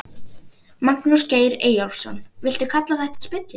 Magnús Geir Eyjólfsson: Viltu kalla þetta spillingu?